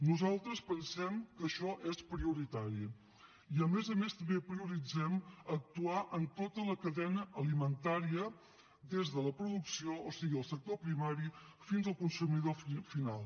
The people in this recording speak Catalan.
nosaltres pensem que això és prioritari i a més a més també prioritzem actuar en tota la cadena alimentària des de la producció o sigui el sector primari fins al consumidor final